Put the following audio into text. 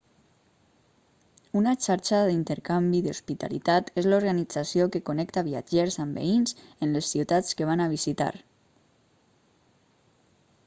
una xarxa d'intercanvi d'hospitalitat és l'organització que connecta viatgers amb veïns en les ciutats que van a visitar